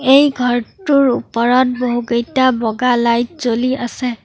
এই ঘৰটোৰ ওপৰত বহুকেইটা বগা লাইট জ্বলি আছে।